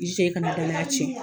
I jija i ka na danaya tiɲɛ.